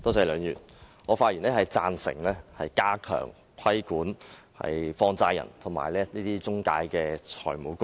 梁議員，我發言贊成加強規管放債人及財務中介公司。